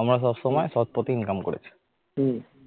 আমরা সব সময় সৎ পথে income করেছি